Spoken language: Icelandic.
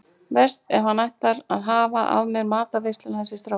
Verst ef hann ætlar að hafa af mér matarveisluna þessi strákur.